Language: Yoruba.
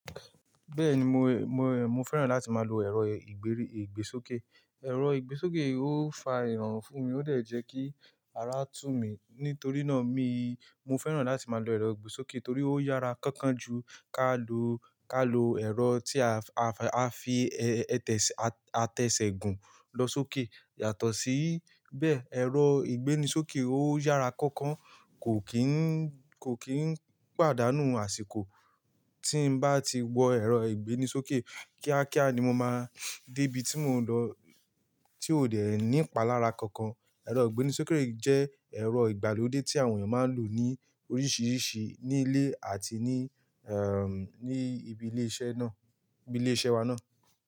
Bẹ́ẹ̀ni mo, mo, mo fẹ́ràn láti máa lo ẹ̀rọ ìgbérí, ìgbésókè. Ẹ̀rọ ìgbésókè ó fa rorun fún mi, ó dẹ̀ jẹ́ kí ara tú mi. Nítorí náà mi, mo fẹ́ràn láti máa lo ẹ̀rọ ìgbésókè torí ó yára kánkán ju ká lo, ká lo ẹ̀rọ tí a, a fi, a tẹ̀sẹ̀, a tẹsẹ̀ gùn lọ sókè. Yàtọ̀ sí bẹ́ẹ̀, ẹ̀rọ ìgbéni sókè ó yára kánkán, kò kín, kò kín pàdánù àsìkò. Tí n bá ti wọ ẹ̀rọ ìgbéni sókè, kíákíá ni mo máa dé ibi tí mò ń lọ, tí ó dẹ̀ ní ipalára kankan. Ẹ̀rọ ìgbéni sókè jẹ́ ẹ̀rọ ìgbàlódé tí àwọn ènìyàn máa ń lò ní oríṣiríṣi ní ilé àti ní, ẹ́, ní ibi ilé iṣẹ́ náà, ní ibi ilé iṣẹ́ wa náà.